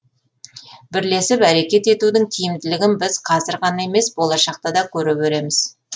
бірлесіп әрекет етудің тиімділігін біз қазір ғана емес болашақта да көре береміз